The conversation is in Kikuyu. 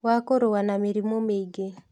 Wa kũrũa na mĩrimũ mĩingĩ